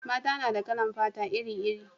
mata na da kalan fata iri iri